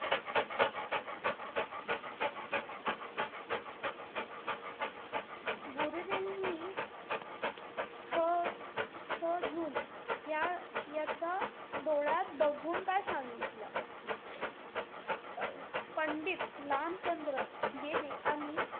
गुरुजींनी छ~ छजून या~ याच्या डोळ्यात बघून काय सांगितल? अं पंडित लामचंद्र गेले आणि,